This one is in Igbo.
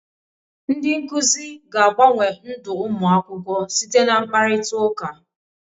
Ndị nkuzi ga-agbanwe ndụ ụmụ akwụkwọ site na mkparịtaụka.